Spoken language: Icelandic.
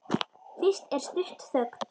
Fyrst er stutt þögn.